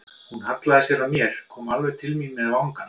Hún hallaði sér að mér, kom alveg til mín með vangann.